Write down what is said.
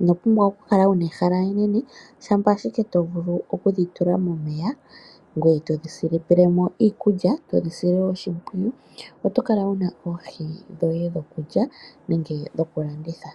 ino pumbwa oku kala wuna ehala enene shampa shike to vulu okudhi tula momeya ngoye todhi tulilemo iikulya, todhi sile oshimpwiyu oto kala wuna oohi dhoye dhokulya nenge dhoku landitha.